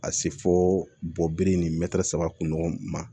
Ka se fo bɔgɔ ni mɛtiri saba kun ɲɔgɔn ma